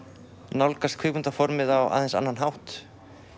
nálgast á aðeins annan hátt